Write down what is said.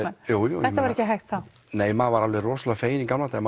jú jú þetta var ekki hægt þá nei maður var alveg rosalega fegin í gamla daga